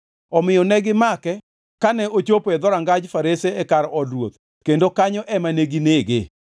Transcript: Omiyo negimake kane ochopo e dhorangaj Farese e kar od ruoth kendo kanyo ema neginege.